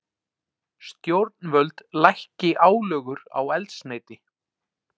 Stjórnvöld lækki álögur á eldsneyti